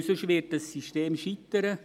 Denn sonst wird dieses System scheitern.